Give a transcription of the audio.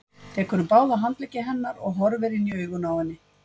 Tekur um báða handleggi hennar og horfir inn í augun á henni.